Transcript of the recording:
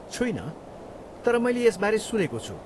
छुइनँ, तर मैले यसबारे सुनेको छु।